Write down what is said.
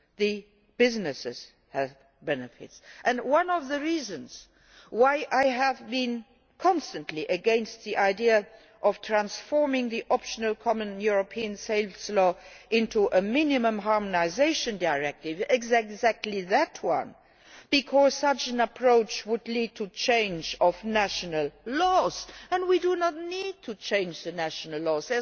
the businesses have benefits. One of the reasons why I have been constantly against the idea of transforming the optional Common European Sales Law into a minimum harmonisation directive is exactly that one, because such an approach would mean a change of national laws, and we do not need to change the national laws.